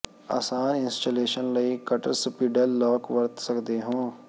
ਆਸਾਨ ਇੰਸਟਾਲੇਸ਼ਨ ਲਈ cutter spindle lock ਵਰਤ ਸਕਦੇ ਹੋ